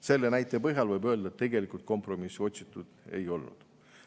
Selle näitaja põhjal võib öelda, et tegelikult kompromissi otsitud ei ole.